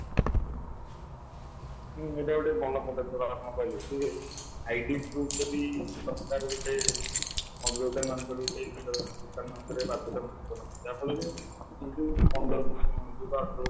ହୁଁ ଏଇଟା ଗୋଟେ ଭଲ ପଦକ୍ଷେପ ଆପଣ କହିଲେ ଜେ Lang: ForeignID Lang: Foreign proof ଯଦି ସରକାର ଗୋଟେ ମଦ ଦୋକାନ ମାନଙ୍କରେ ଗୋଟେ ଜିନିଷ ଦୋକାନ ମାନଙ୍କରେ ବାଧ୍ୟତାମୂଳକ ନାହିଁ ଯାହା ଫଳରେ ଇଏ ଯୋଉ ପନ୍ଦର ବର୍ଷ ଯୋଉଟା ଅଠର ବର୍ଷ